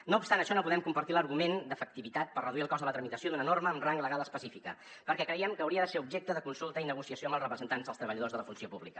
no obstant això no podem compartir l’argument d’efectivitat per reduir el cost de la tramitació d’una norma amb rang legal específic perquè creiem que hauria de ser objecte de consulta i negociació amb els representants dels treballadors de la funció pública